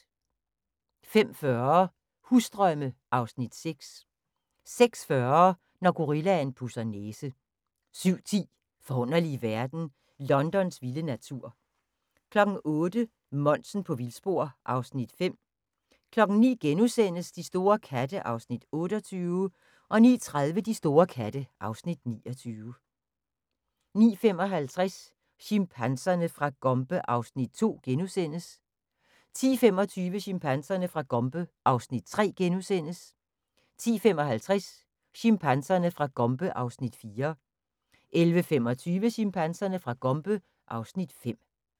05:40: Husdrømme (Afs. 6) 06:40: Når gorillaen pudser næse 07:10: Forunderlige verden – Londons vilde natur 08:00: Monsen på vildspor (Afs. 5) 09:00: De store katte (Afs. 28)* 09:30: De store katte (Afs. 29) 09:55: Chimpanserne fra Gombe (Afs. 2)* 10:25: Chimpanserne fra Gombe (Afs. 3)* 10:55: Chimpanserne fra Gombe (Afs. 4) 11:25: Chimpanserne fra Gombe (Afs. 5)